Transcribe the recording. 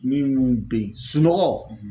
Minnu bɛ yen sunɔgɔ.